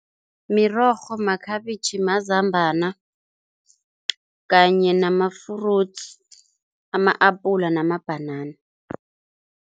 Mirorho, makhabitjhi, mazambana kanye nama-fruits, ama-apula namabhanana.